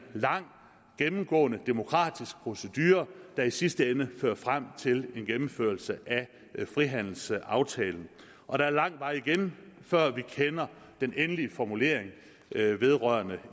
lang gennemgående demokratisk procedure der i sidste ende fører frem til en gennemførelse af frihandelsaftalen og der er lang vej igen før vi kender den endelige formulering vedrørende